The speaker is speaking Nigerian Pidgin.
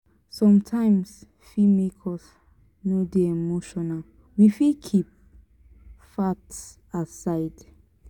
sometimes fit make us no dey emotional we fit keep facts aside